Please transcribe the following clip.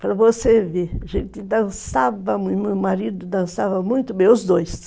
Para você ver, a gente dançava, meu marido dançava muito bem, os dois.